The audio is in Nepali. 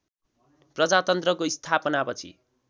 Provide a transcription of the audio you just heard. प्रजातन्त्रको स्थापनापछि